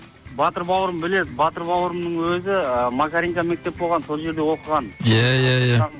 батыр бауырым біледі батыр бауырымның өзі і макаренко мектеп болған сол жерде оқыған ия ия ия